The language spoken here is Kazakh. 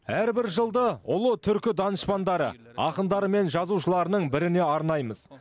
әрбір жылды ұлы түркі данышпандары ақындары мен жазушыларының біріне арнаймыз